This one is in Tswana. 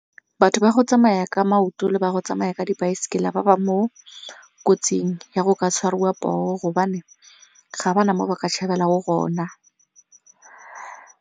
Batho ba go tsamaya ka maoto le ba go tsamaya ka dipaesekela ba ba mo kotsing ya go ka tshwariwa poo gobane ga ba na mo ba ka tshabelang go na.